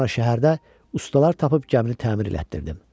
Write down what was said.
Sonra şəhərdə ustalar tapıb gəmini təmir etdirtdim.